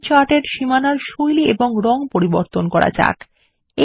আমাদের চার্ট এর সীমানার শৈলী এবং রং পরিবর্তন করা যাক